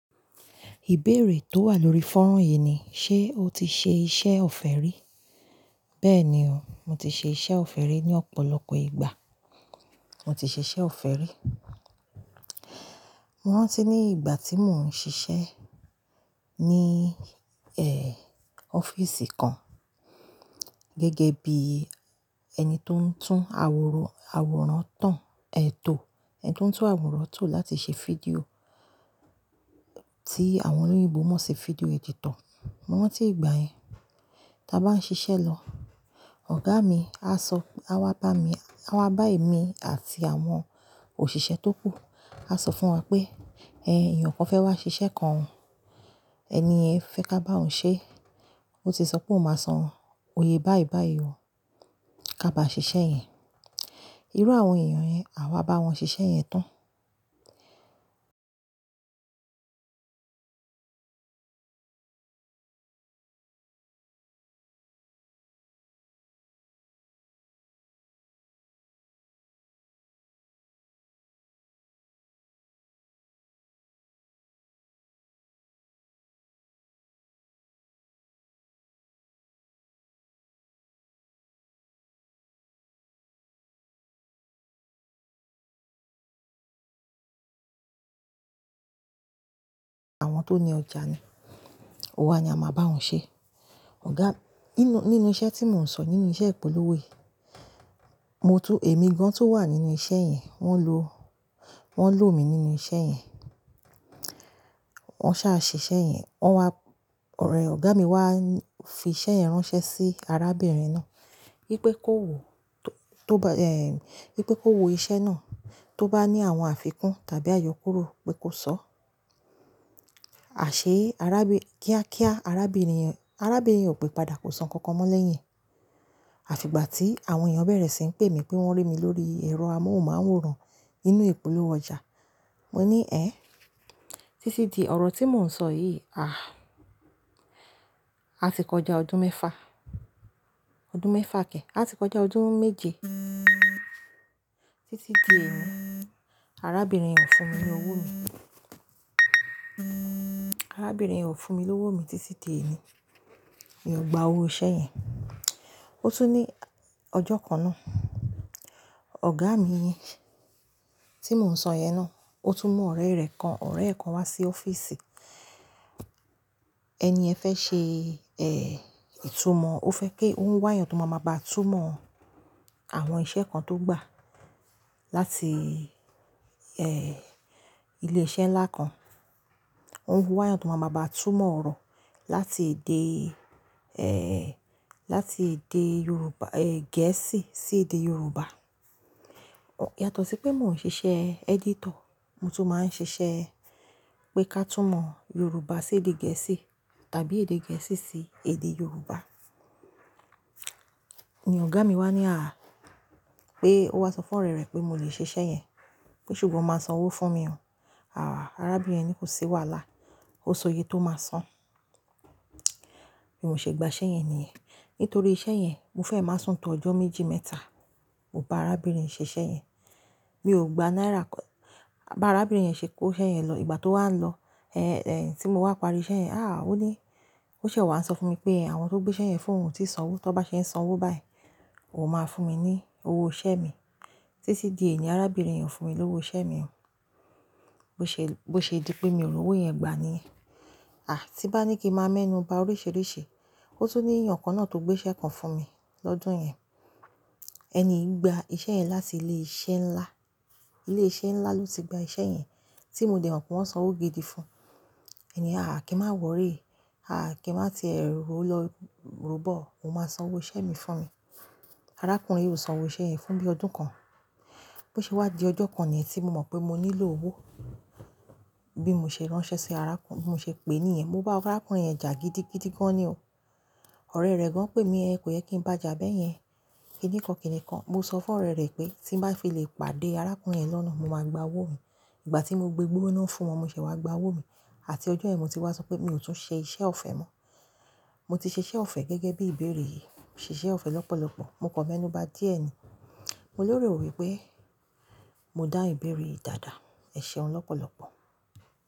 Ìbéèrè tó wà lórí fọ́nrán yìí ni, ṣe o ti ṣe iṣẹ́ ọ̀fẹ́ rí? Bẹ́ẹ̀ni o, mo ti ṣe iṣẹ́ ọ̀fẹ́ rí ní ọ̀pọ̀lọpọ̀ ìgbà. Mo ti ṣe iṣẹ́ ọ̀fẹ́ rí. Mo rántí ní ìgbà tí mò ń ṣiṣẹ́ ní, ọ́fíìsì kan gẹ́gẹ́ bí ẹni tó ń tún àwòrán tán, ẹtò, ẹni tó ń tún àwòrán tò láti ṣe fídíò tí àwọn olóyèbo mọ̀ sí fídíò editor. Mo rántí ìgbà yẹn, tí a bá ń ṣiṣẹ́ lọ, ọ̀gá mi á sọ, á wá bá mi, á wá bá èmi àti àwọn òṣìṣẹ́ tó kù, á sọ fún wa pé, "Ẹ̀yan kan fẹ́ wá ṣiṣẹ́ kan. Ẹni yẹn fẹ́ ká bá òun ṣe. Ó ti sọ pé òun máa san òye báìbáì o, ká ba ṣiṣẹ́ yẹn." Irú àwọn èèyàn yẹn, àwa bá wọn ṣiṣẹ́ yẹn tán. Àwọn tó ní ọjà ni. Wa ni a máa bá òun ṣe. Ọ̀gá, nínú, nínú iṣẹ́ tí mò ń sọ, nínú iṣẹ́ ìpolówó yìí, mo tún, èmi gan tó wà nínú iṣẹ́ yẹn, wọ́n lo, wọ́n lò mi nínú iṣẹ́ yẹn. Wọ́n sá ṣe iṣẹ́ yẹn, wọ́n wá, ọ̀rẹ́ ọ̀gá mi wá fi iṣẹ́ yẹn ránṣẹ́ sí arábìnrin náà wípé kó wo, tó ba, wípé kó wo iṣẹ́ náà, tó bá ní àwọn àfikún tàbí àyọkúrò pé kó sọ. A ṣe, arábì, kíá kíá, arábìnrin, arábìnrin ò pé padà kó sọ nkankan mọ́ lẹ́yìn e. Àfi ìgbà tí àwọn èèyàn bẹ̀rẹ̀ sí ń pè mí pé wọ́n rí mi lórí ẹ̀rọ amóhùnmáwòrán nínú ìpolówó ọjà. Mo ní, "Ẹ́hn" Títí di ọ̀rọ̀ tí mò ń sọ yìí, a, a ti kọjá ọdún mẹ́fa, ọdún mẹ́fa ke, a ti kọjá ọdún méje títí di èni, arábìnrin yẹn o fún mi lówó mi. Arábìnrin yẹn o fún mi lówó mi títí di èní. Mi ò gba owó iṣẹ́ yẹn. Ó tún ní ọjọ́ kan náà, ọ̀gá mi tí mò ń sọ yẹn náà, ó tún mú ọ̀rẹ́ rẹ̀ kan, ọ̀rẹ́ e kan wá sí ọ́fíìsì. Ẹni yẹn fẹ́ ṣe, ìtúmọ̀, ó fẹ́ kí ó ń wáyàn tó máa máa bá túnmọ̀ àwọn iṣẹ́ kan tó gbà láti, ilé iṣẹ́ ńlá kan. Ó ń wáyàn tó máa ma bá túnmọ̀ ọ̀rọ̀ láti èdè, láti èdè Yorùbá, Gẹ̀ẹ́sì sí èdè Yorùbá. Yàtọ̀ sí pé mò ń ṣiṣẹ́ editor, mo tún máa ń ṣiṣẹ́ pé ká túnmọ̀ Yorùbá sí èdè Gẹ̀ẹ́sì tàbí èdè Gẹ̀ẹ́sì sí èdè Yorùbá. Ni ọ̀gá mi wá ní, à, pé ó wá sọ fún ọ̀rẹ́ rẹ̀ pé mo lè ṣe iṣẹ́ yẹn, pé ṣùgbọ́n ó máa san owó fún mi o. Àhh, arábìnrin yẹn ni kò ṣi wàhálà. Ó so yé tó máa san. Bi mò ṣe gba iṣẹ́ yẹn nìyẹn. Nítorí iṣẹ́ yẹn, mo fẹ́ máa sùn to ọjọ́ méjì mẹ́ta. Mo bá arábìnrin ṣe iṣẹ́ yẹn. Mi ò gba náírà kan. Bá arábìnrin yẹn ṣe kó iṣẹ́ yẹn lọ, ìgbà tó wá lọ, tí mo wá parí iṣẹ́ yẹn, à, ó ní, ó ṣẹ̀ wá sọ fún mi pé àwọn tó gbé iṣẹ́ yẹn fún òun ti san owó. Tó bá ṣe ń san owó báyìí, òun máa fún mi ní owó iṣẹ́ mi. Títí di èní, arábìnrin yẹn fún mi lówó iṣẹ́ mi. Bo ṣe, bó ṣe dí pé mi ò rí owó yẹn gbà níyẹn. À, tí bá ní kí màá mẹ́nuba oríṣiríṣi, ó tún ní èèyàn kan náà tó gbé iṣẹ́ kan fún mi lọ́dún yẹn. Ẹni gba iṣẹ́ yẹn láti ilé iṣẹ́ ńlá. Ilé iṣẹ́ ńlá ló ti gba iṣẹ́ yẹn tí mo dẹ̀ mọ̀ pé wọ́n san owó gidi fún. Ẹ̀ní, yen à kí n má wòrí, à kí n má ti rò lọ ró bọ̀, òun máa san owó iṣẹ́ mi fún mi. Arákùnrin yìí ò san owó iṣẹ́ yẹn fún bí ọdún kan. Bí ó ṣe wá di ọjọ́ kan niyen tí mo mọ̀ pé mo nílò owó. Bí mo ṣe ránṣẹ́ sí arákùnrin, bí mo ṣe pè é ní ẹ̀yẹn, mo bá arákùnrin yẹn jà gidi gidi gan ni o. Ọ̀rẹ́ rẹ gan pè mí ehn, kò yẹ kí n bá a jà bẹ́ẹ̀ yẹn. Kìnìkan kìnìkan, mo sọ fún ọ̀rẹ́ rẹ pé tí n bá fi lè pàdé arákùnrin yẹn lọ́nà, mo máa gba owó mi. Ìgbà tí mo gbé igbó náà fún wọn, mo ṣẹ̀ wá gba owó mi àti ọjọ́ yen mo tí wá sọ pé mi ò tún ṣe iṣẹ́ ọ̀fẹ́ mọ́. Mo ti ṣe iṣẹ́ ọ̀fẹ́ gẹ́gẹ́ bí ìbéèrè yìí. Mo ṣe iṣẹ́ ọ̀fẹ́ lọ́pọ̀lọpọ̀. Mo kàn mẹ́nuba díẹ̀ ni. Mo lero wipe mo dáhun ìbéèrè yìí dáadáa. Ẹ ṣeun lọ́pọ̀lọpọ̀.